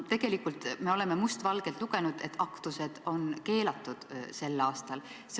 Tegelikult me oleme must valgel lugenud, et aktused on sel aastal keelatud.